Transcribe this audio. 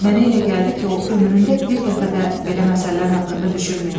Mənə elə gəldi ki, o ömründə bir dəfə də belə məsələlər haqqında düşünməyib.